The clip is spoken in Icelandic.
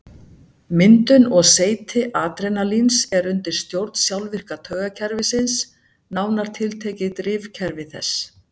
Myndun og seyti adrenalíns er undir stjórn sjálfvirka taugakerfisins, nánar tiltekið drifkerfi þess.